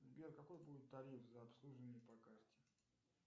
сбер какой будет тариф за обслуживание по карте